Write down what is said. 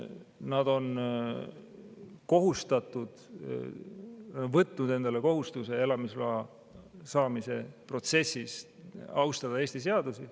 Nad on elamisloa saamise protsessis võtnud endale kohustuse austada Eesti seadusi.